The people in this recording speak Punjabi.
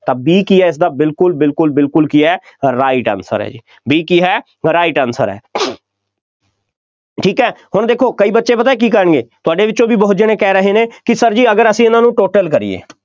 ਤਾਂ B ਕੀ ਹੈ ਇਸਦਾ ਬਿਲਕੁੱਲ ਬਿਲਕੁੱਲ ਬਿਲਕੁੱਲ ਕੀ ਹੈ right answer ਹੈ, B ਕੀ ਹੈ right answer ਹੈ ਠੀਕ ਹੈ, ਹੁਣ ਦੇਖੋ, ਕਈ ਬੱਚੇ ਪਤਾ ਕੀ ਕਰਨਗੇ, ਤੁਹਾਡੇ ਵਿੱਚੋਂ ਵੀ ਬਹੁਤ ਜਣੇ ਕਹਿ ਰਹੇ ਨੇ, ਕਿ Sir ਜੀ ਅਗਰ ਅਸੀਂ ਇਹਨਾਂ ਨੂੰ total ਕਰੀਏ,